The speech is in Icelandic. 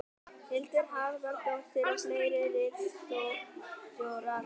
Hildur Harðardóttir og fleiri ritstjórar.